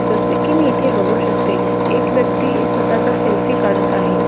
जसे की मी इथे बघू शकते एक व्यक्ति स्वतःच सेल्फी काढत आहे.